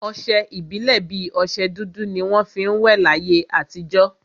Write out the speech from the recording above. Ọsẹ ìbílè bi ọsẹ dúdú ni wọn fi ń will láyé àtijọ́